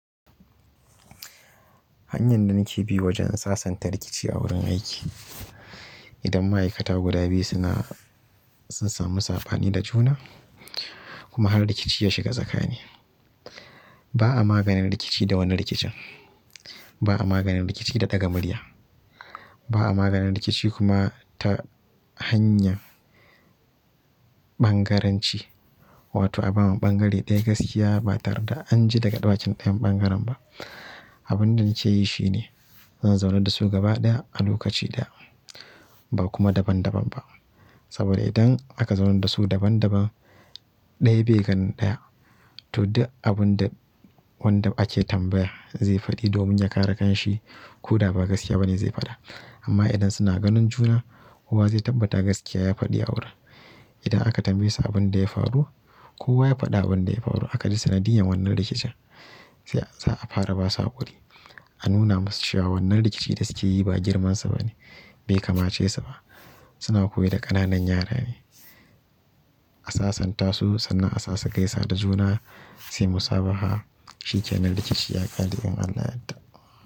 Hanyan da nake bi wajen sasanta rikici a wurin aiki, idan ma'aikata guda biyu suna, sun samu saɓani da juna. Kuma har rikici ya shiga tsakani. Ba a maganin rikici da wani rikicin. Ba a maganin rikici da ɗaga murya. Ba a maganin rikici kuma ta hanyar ɓangaranci, wato a bawa ɓangare ɗaya gaskiya ba tare da an ji daga bakin ɗaya ɓangaren ba. Abin da nake yi shine, zan zaunar da su gaba ɗaya a lokaci ɗaya, ba kuma daban daban ba. Saboda idan aka zaunar da su daban daban, ɗaya bai ganin ɗaya. Tunda abun da wanda ake tambaya zai faɗi domin ya kare kan shi ko da ba gaskiya ba ne zai faɗa. Amma idan suna ganin juna kowa zai tabbata gaskiya ya faɗi a wurin. Ida aka tambaye su abin da ya faru, kowa ya faɗa abin da ya faru, aka ji sanadiyan wannan rikicin, sai, za a fara basu haƙuri. A nuna masu cewa wannan rikici da suke yi ba girman su ba ne, bai kama ce su ba. Suna koyar da ƙananan yara ne. A sasanta su sannan a sa su gaisa da juna, su yi musabaha. Shikenan rikici ya ƙare in Allah ya yadda.